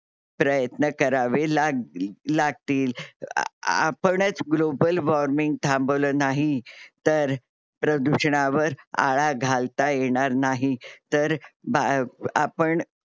प्रयत्न करावे लाग लागतील. आपणच ग्लोबल वॉर्मिंग global warming थांबवल नाही तर प्रदूषणावर आळा घालता येणार नाही. तर म आपण